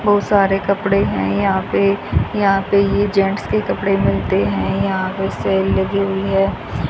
बहुत सारे कपड़े हैं यहां पे यहां पे ये जेट्स के कपड़े मिलते है यहां पे सेल लगी हुई हैं।